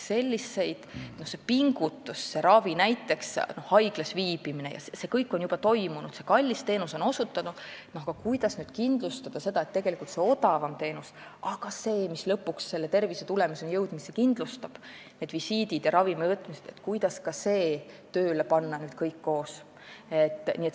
See pingutus, see ravi, näiteks haiglas viibimine, see kõik on juba olnud, kallis teenus on osutatud, aga kuidas kindlustada seda, et tegelikult küll see odavam teenus, mis lõpuks aga tervisetulemuseni jõudmise kindlustab, need visiidid ja ravimivõtmised, panna kõigega koos tööle.